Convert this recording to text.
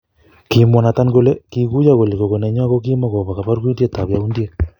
kimwa Nathan kole kiguyo kole gogo nenywa kokimo kopo porgidet ab yaundiek